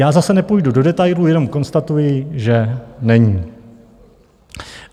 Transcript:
Já zase nepůjdu do detailů, jenom konstatuji, že není.